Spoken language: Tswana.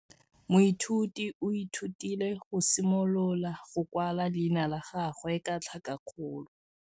Moithuti o ithutile go simolola go kwala leina la gagwe ka tlhakakgolo.